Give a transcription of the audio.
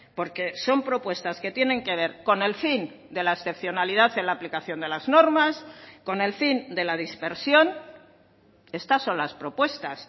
porque son propuestas que tienen que ver con el fin de la excepcionalidad en la aplicación de las normas con el fin de la dispersión estas son las propuestas